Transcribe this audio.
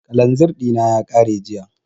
Kalanzir ɗina ya ƙare jiya